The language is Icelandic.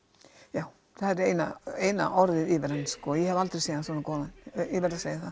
já það er eina eina orðið yfir hann ég hef aldrei séð hann svona góðan ég verð að segja það